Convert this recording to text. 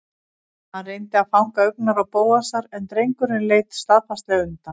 Hann reyndi að fanga augnaráð Bóasar en drengurinn leit staðfastlega undan.